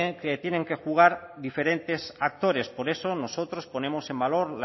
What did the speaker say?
que tienen que jugar diferentes actores por eso nosotros ponemos en valor